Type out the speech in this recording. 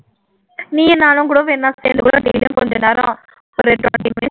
நீயும் நானும்கூட வேணா சேர்ந்து கொஞ்சநேரம்